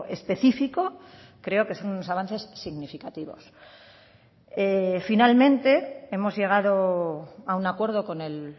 específico creo que son unos avances significativos finalmente hemos llegado a un acuerdo con el